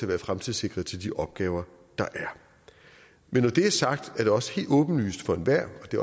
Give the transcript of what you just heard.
være fremtidssikret til de opgaver der er men når det er sagt er det også helt åbenlyst for enhver og det